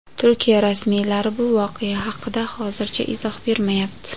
Turkiya rasmiylari bu voqea haqida hozircha izoh bermayapti.